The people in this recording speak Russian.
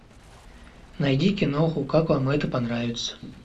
найди киноху как вам это понравится